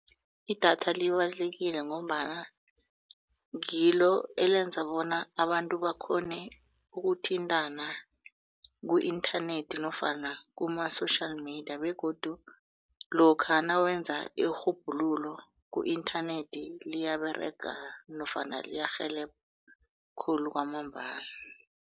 Idatha libalulekile ngombana ngilo elenza bona abantu bakghone ukuthintana ku-inthanethi nofana kumasama-social media begodu lokha nawenza irhubhululo ku-inthanethi liyaberega nofana liyarhelebha khulu kwamambala.